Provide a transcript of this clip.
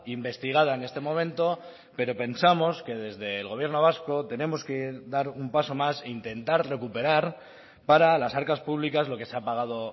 investigada en este momento pero pensamos que desde el gobierno vasco tenemos que dar un paso más e intentar recuperar para las arcas públicas lo que se ha pagado